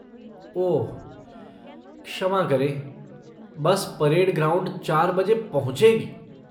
ओह, क्षमा करें, bus parade ground चार बजे पहुंचेगी।